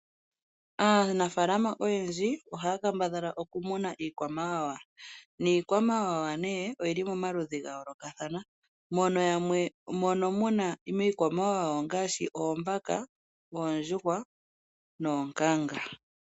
Aanafaalama oyendji ohaya kambadhala okumuna iikwamawawa, niikwamawawa ne oyili momaludhi gayoolokathana ngaashi oombaka, oondjuhwa noonkanga.